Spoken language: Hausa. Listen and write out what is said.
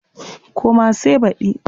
Koma sai baɗi.